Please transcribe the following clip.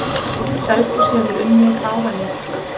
Selfoss hefur unnið báða leiki sína.